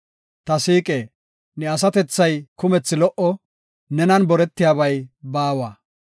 Ta siiqe, ne asatethay kumethi lo77o; nenan boretiyabay baawa.